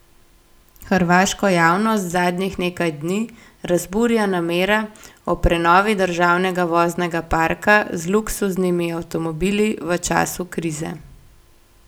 Hrvaško javnost zadnjih nekaj dni razburja namera o prenovi državnega voznega parka z luksuznimi avtomobili v času krize.